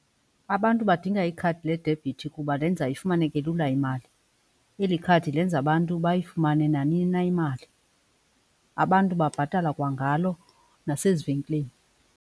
Abantu badinga ikhadi ledebhithi kuba lenza ifumaneke lula imali. Eli khadi lenza abantu bayifumane nanini na imali. Abantu babhatala kwangalo nasezivenkileni.